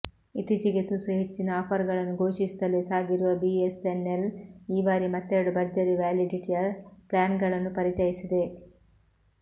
ಇತ್ತೀಚಿಗೆ ತುಸು ಹೆಚ್ಚಿನ ಆಫರ್ಗಳನ್ನು ಘೋಷಿಸುತ್ತಲೇ ಸಾಗಿರುವ ಬಿಎಸ್ಎನ್ಎಲ್ ಈ ಬಾರಿ ಮತ್ತೆರಡು ಭರ್ಜರಿ ವ್ಯಾಲಿಡಿಟಿಯ ಪ್ಲ್ಯಾನ್ಗಳನ್ನು ಪರಿಚಯಿಸಿದೆ